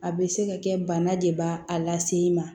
A bɛ se ka kɛ bana de b'a lase i ma